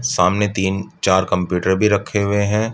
सामने तीन चार कम्‍प्‍यूटर भी रखे हुए हैं।